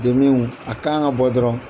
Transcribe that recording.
Demiw a kan ka bɔ dɔrɔn